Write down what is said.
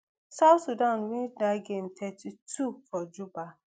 south sudan win dat game thirty-two for juba